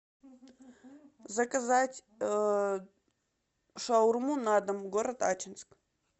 заказать шаурму на дом город ачинск